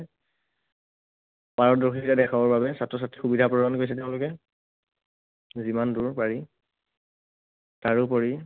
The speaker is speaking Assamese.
পাৰদৰ্শিতা দেখাবৰ বাবে ছাত্ৰ ছাত্ৰীক সুবিধা প্ৰদান কৰিছে তেওঁলোকে, যিমান দূৰ পাৰি। তাৰোপৰি